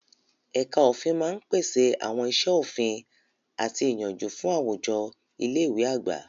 Ẹ̀ka òfin máa ń pèsè àwọn iṣẹ́ òfin àti ìyànjú fún àwùjọ ilé ìwé àgbà.